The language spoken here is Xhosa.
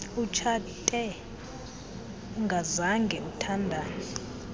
utshate ungazange uthandane